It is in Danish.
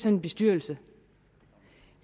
en bestyrelse